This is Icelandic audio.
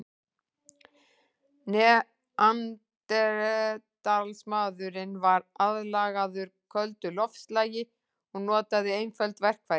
Neanderdalsmaðurinn var aðlagaður köldu loftslagi og notaði einföld verkfæri.